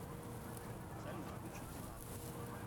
салют включи диван